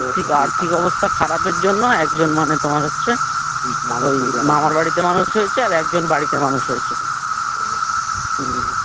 আর্থিক আর্থিক অবস্থা খারাপের জন্য একজন মানে তোমার হচ্ছে ওই মামার বাড়িতে মানুষ হয়েছে আর একজন বাড়িতে মানুষ হয়েছে